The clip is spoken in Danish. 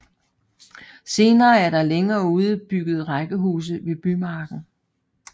Senere er der længere ude bygget rækkehuse ved Bymarken